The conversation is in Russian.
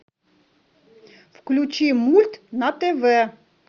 включи мульт на тв